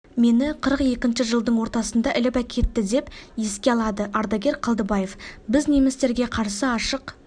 мені қырық екінші жылдың ортасында іліп әкетті деп еске алады ардагер қалдыбаев біз немістерге қарсы ашық